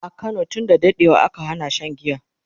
a Kano tun da daɗewa aka Hana Shan giya